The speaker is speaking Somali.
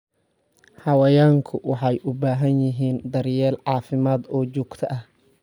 Xayawaanku waxay u baahan yihiin daryeel caafimaad oo joogto ah.